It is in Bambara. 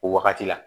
O wagati la